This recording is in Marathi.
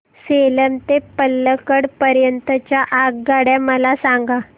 सेलम ते पल्लकड पर्यंत च्या आगगाड्या मला सांगा